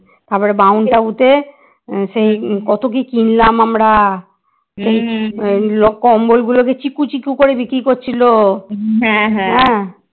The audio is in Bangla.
তারপরে মাউন্টতাবুতে সেই কত কি কিনলাম আমরা ওই কম্বলগুলোকে চিকু চিকু করে বিক্রি করছিল হ্যাঁ